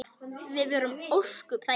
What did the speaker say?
Við vorum ósköp þægir.